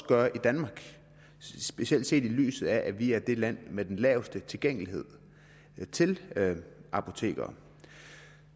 gøre i danmark specielt set i lyset af at vi er det land med den laveste tilgængelighed til apoteker